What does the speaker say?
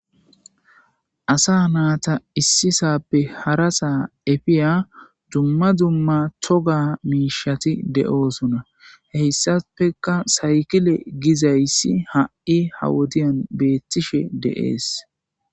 asa naata issisappe hara saa efiya dumma dumma toga miishati de7oosona heyssafeka saykile gizayssi ha7i ha wodiyan beettishe deees